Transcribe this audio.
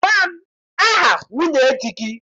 Gwa m aha nwunye di gị!